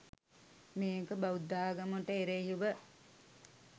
මේක බෞද්ධාගමට එරෙහිව